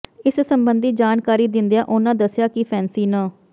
ਇਸ ਸਬੰਧੀ ਜਾਣਕਾਰੀ ਦਿੰਦਿਆਂ ਉਨ੍ਹਾਂ ਦੱਸਿਆ ਕਿ ਫੈਂਸੀ ਨ